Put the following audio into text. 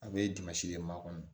A bɛ de maa kɔnɔ